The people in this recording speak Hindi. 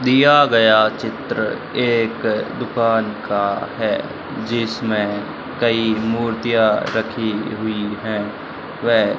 दिया गया चित्र एक दुकान का है जिसमें कई मूर्तियां रखी हुई है वह --